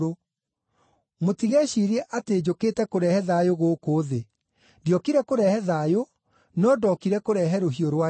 “Mũtigeciirie atĩ njũkĩte kũrehe thayũ gũkũ thĩ. Ndiokire kũrehe thayũ, no ndookire kũrehe rũhiũ rwa njora.